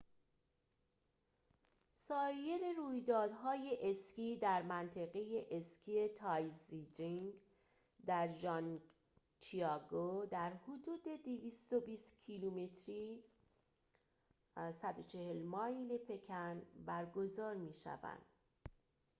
سایر رویدادهای اسکی در منطقه اسکی تایزیچنگ در ژانگجیاکو در حدود 220 کیلومتری 140 مایل پکن برگزار می شوند